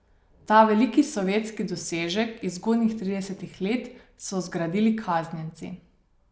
Ta veliki sovjetski dosežek iz zgodnjih tridesetih let so zgradili kaznjenci.